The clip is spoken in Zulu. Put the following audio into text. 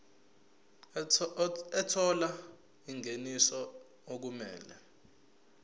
ethola ingeniso okumele